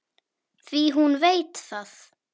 Því hún veit það.